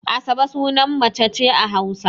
Asabe sunan mace ce a Hausa.